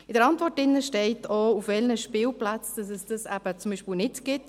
In der Antwort steht auch, auf welchen Spielplätzen es das zum Beispiel gibt.